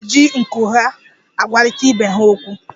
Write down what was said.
Akọrọ na-eji nku ya agwarịta ibe ha okwu.